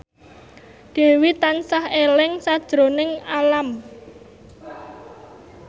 Dewi tansah eling sakjroning Alam